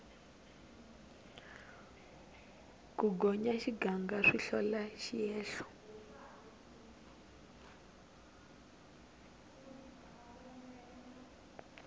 ku gonya xiganga swi hlola xiehlo